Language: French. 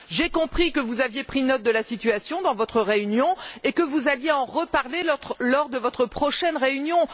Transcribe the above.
J'ai compris que vous aviez pris note de la situation dans votre réunion et que vous alliez en reparler lors de votre prochaine réunion.